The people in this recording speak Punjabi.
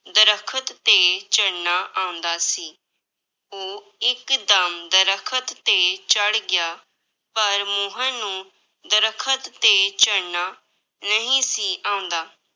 ਦਰੱਖਤ ਤੇ ਚੜ੍ਹਨਾ ਆਉਂਦਾ ਸੀ, ਉਹ ਇੱਕਦਮ ਦਰੱਖਤ ਤੇ ਚੜ੍ਹ ਗਿਆ, ਪਰ ਮੋਹਨ ਨੂੰ ਦਰੱਖਤ ਤੇ ਚੜ੍ਹਨਾ ਨਹੀਂ ਸੀ ਆਉਂਦਾ।